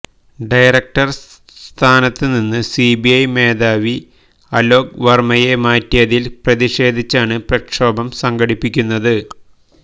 director സ്ഥാനത്ത് നിന്ന് CBI മേധാവി അലോക് വര്മ്മയെ മാറ്റിയതില് പ്രതിഷേധിച്ചാണ് പ്രക്ഷോഭം സംഘടിപ്പിക്കുന്നത്